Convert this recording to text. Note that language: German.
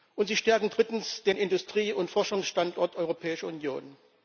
Und sie stärken drittens den Industrie und Forschungsstandort Europäische Union.